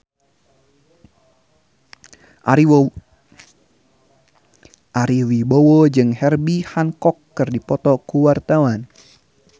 Ari Wibowo jeung Herbie Hancock keur dipoto ku wartawan